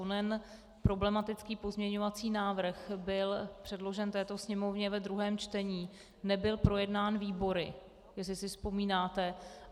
Onen problematický pozměňovací návrh byl předložen této Sněmovně ve druhém čtení, nebyl projednán výbory, jestli si vzpomínáte.